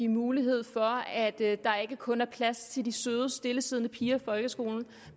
mulighed for at der ikke kun er plads til de søde stillesiddende piger i folkeskolen